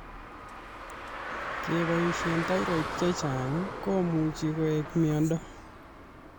Kepoishe thyroid chechang' komuch koek miondo